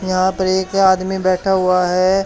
यहां पर एक ही आदमी बैठा हुआ है।